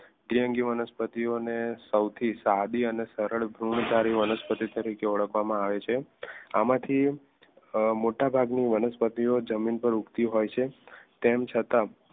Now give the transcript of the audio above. દ્વિઅંગી વનસ્પતિઓ ને સૌથી સાદી અને સરળ ગુણ ધારી વનસ્પતિ રીતે ઓળખવામાં આવે છે આમાંથી મોટાભાગની વનસ્પતિઓ જમીન પર આવતી હોય છે તેમ છતાં